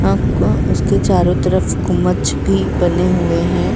आपको उसको चारों तरफ गुमच्छ भी बने हुए हैं।